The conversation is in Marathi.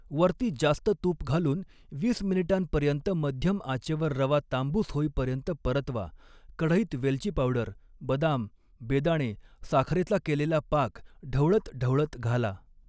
वरती जास्त तूप घालून वीस मिनिटांपर्यंत मध्यम आचेवर रवा तांबूस होईपर्यंत परतवा, कढईत वेलची पावडर बदाम बेदाणे साखरेचा केलेला पाक ढवळत ढवळत घाला.